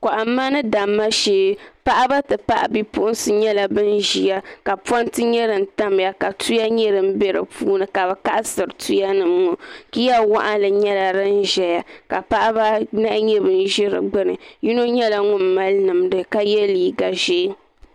Kɔhimma ni damma shɛɛ paɣiba n ti pahi bipuɣinsi yɛla ban ziya ka pɔna yɛ din tamiya ka tuya yɛ din bɛ di puuni ka bi kaɣisiri tuya nim ŋɔ miya wɔɣinnli yɛla din ziyzka paɣi ba a nahi zɛ digbuni yino yɛla ŋuni mali nimdi ka yiɛ liiga zɛɛ.